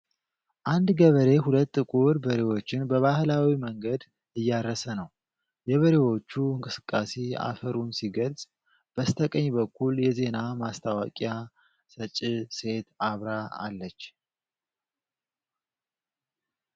አንድ ገበሬ ሁለት ጥቁር በሬዎችን በባህላዊ መንገድ እያረሰ ነው። የበሬዎቹ እንቅስቃሴ አፈሩን ሲገልጽ፣ በስተቀኝ በኩል የዜና ማስታወቂያ ሰጭ ሴት አብራ አለች።